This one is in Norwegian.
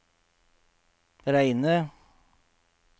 Reine